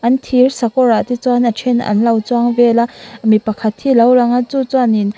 an thirsakawr ah te chuan a then an lo chuang vel a mi pakhat hi a lo lang a chu chuan in--